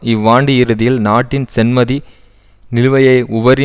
இவ்வாண்டு இறுதியில் நாட்டின் சென்மதி நிலுவையை உபரி